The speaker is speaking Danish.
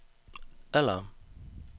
alarm